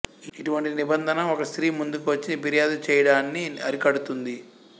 ఇటువంటి నిబంధన ఒక స్త్రీ ముందుకు వచ్చి ఫిర్యాదు చేయడాన్ని అరికడుతుంది